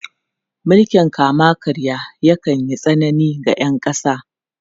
Mulkin kama-karya yakan yi tsanani ga ’yan kasa.